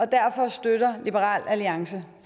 derfor støtter liberal alliance